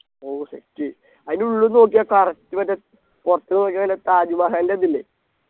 ഓ Set അതിനുള്ളിന്നു നോക്കിയാൽ Correct മറ്റേ പുറത്ത്ന്നു നോക്കിയാ നല്ല താജ്മഹലിൻ്റെ ഇതില്ലേ